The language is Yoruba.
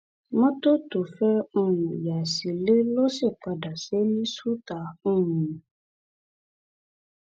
mọtò tó fẹẹ um yà sílẹ ló sì padà ṣe é ní ṣùtá um